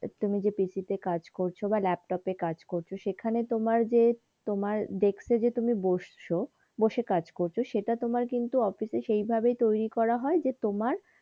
তুমি যে PC কাজ করছো বা ল্যাপটপ এ কাজ করছো সেখানে তোমার যে তোমার ডেস্ক এ যে তুমি বসছো বসে কাজ করছো সেইটা তোমার কিন্তু অফিস এ সেইভাবে তৈরী করা যে তোমার,